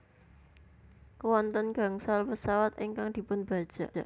Wonten gangsal pesawat ingkang dipunbajak